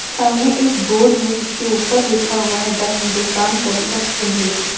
सामने एक बोर्ड है जिसके ऊपर लिखा हुआ है द हिंदुस्तान कॉन्सेप्ट इंग्लिश --